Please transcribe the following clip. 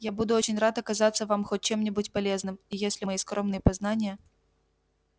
я буду очень рад оказаться вам хоть чем-нибудь полезным и если мои скромные познания